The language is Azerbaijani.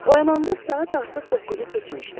Oyananda saat artıq doqquzu keçmişdi.